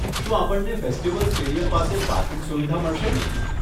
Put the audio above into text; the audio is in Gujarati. શું આપણને ફેસ્ટિવલ સ્ટેડિયમ પાસે પાર્કિંગ સુવિધા મળશેને?